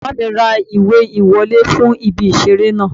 Bàbá mi ra ìwé ìwọlé fún ibi ìseré náà